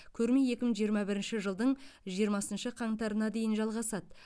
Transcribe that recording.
көрме екі мың жиырма бірінші жылдың жиырмасыншы қаңтарына дейін жалғасады